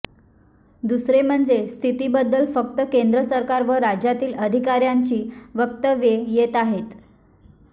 दुसरे म्हणजे स्थितीबद्दल फक्त केंद्र सरकार व राज्यातील अधिकाऱ्यांची वक्तव्ये येत आहेत